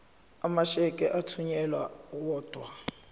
amasheke athunyelwa odwa